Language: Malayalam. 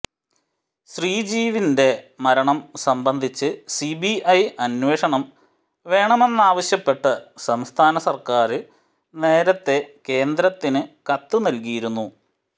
ശ്രീജീവിന്റെ മരണം സംബന്ധിച്ച് സിബിഐ അന്വേഷണം വേണമെന്നാവശ്യപ്പെട്ട് സംസ്ഥാന സര്ക്കാര് നേരത്തെ കേന്ദ്രത്തിന് കത്ത് നല്കിയിരുന്നു